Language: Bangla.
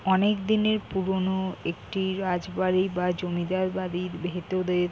অনেকদিনের পুরোনো একটি রাজবাড়ী বা জমিদারবাড়ির ভেতরের--